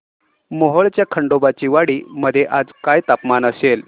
मोहोळच्या खंडोबाची वाडी मध्ये आज काय तापमान असेल